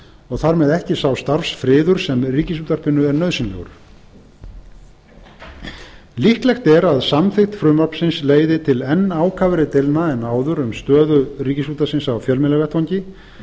og þar með ekki sá starfsfriður sem ríkisútvarpinu er nauðsynlegur líklegt er að samþykkt frumvarpsins leiði til enn ákafari deilna en áður um stöðu ríkisútvarpsins á fjölmiðlavettvangi